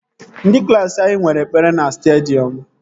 Ndị klaasị anyị nwere ekpere na stadiọm